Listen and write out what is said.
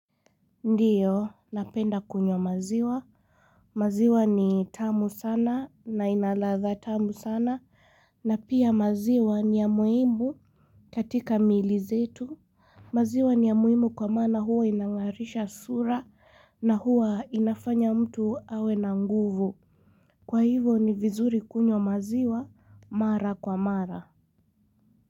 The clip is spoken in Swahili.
Ndiyo, napenda kunywa maziwa. Maziwa ni tamu sana na inaladha tamu sana na pia maziwa ni ya muhimu katika miili zetu. Maziwa ni ya muhimu kwa maana huwa inangarisha sura na huowa inafanya mtu awe na nguvu. Kwa hivo ni vizuri kunywa maziwa mara kwa mara.